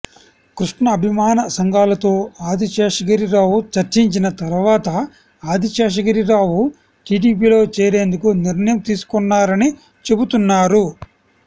కృష్ణ అభిమాన సంఘాలతో ఆదిశేషగిరి రావు చర్చించిన తర్వాత ఆదిశేషగిరిరావు టీడీపీలో చేరేందుకు నిర్ణయం తీసుకొన్నారని చెబుతున్నారు